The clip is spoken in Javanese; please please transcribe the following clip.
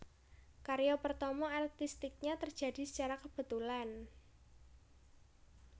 Karya pertama artistiknya terjadi secara kebetulan